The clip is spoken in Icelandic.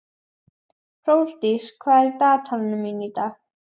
Hrólfdís, hvað er í dagatalinu mínu í dag?